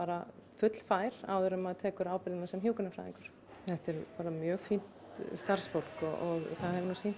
fullfær áður en maður tekur ábyrgðina sem hjúkrunarfræðingur þetta er bara mjög fínt starfsfólk og það hefur nú sýnt